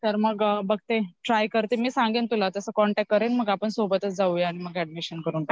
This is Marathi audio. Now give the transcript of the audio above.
तर मग बघते ट्राय करते मी सांगेन तुला तसं कॉन्टॅक्ट करेन मग आपण सोबतच जाऊया मग ऍडमिशन करून टकुया